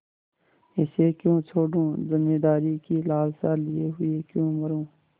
इसे क्यों छोडूँ जमींदारी की लालसा लिये हुए क्यों मरुँ